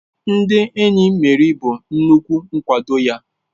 Ndị enyi Meri bụ nnukwu nkwado ya.